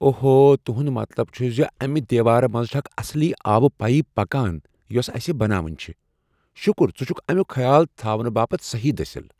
اوہو ، تہنٛد مطلب چھٗ زِ امہِ دیوارٕ منٛزِ چھِ اکھ اصلی آبہٕ پایپ پکان یۄس اسہ بناوٕنۍ چھےٚ ۔ شٗکر ژٕ چھُكھ امیوٗک خیال تھاونہٕ باپتھ صٔحیٖح دٔسِل۔